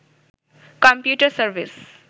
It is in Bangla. computer service